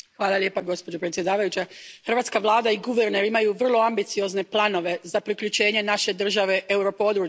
Poštovana predsjedavajuća, hrvatska vlada i guverner imaju vrlo ambiciozne planove za priključenje naše države europodručju.